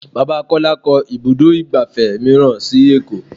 Bàbá Kọ́lá kó ibùdó igbàfẹ́ mìíràn sì èkó.